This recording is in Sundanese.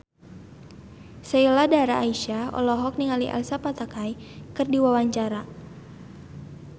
Sheila Dara Aisha olohok ningali Elsa Pataky keur diwawancara